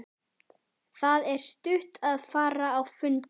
Það er stutt að fara á fundi.